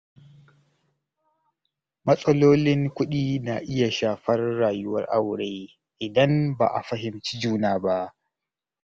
Matsalolin kuɗi na iya shafar rayuwar aure idan ba a fahimci juna ba.